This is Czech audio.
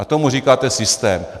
A tomu říkáte systém.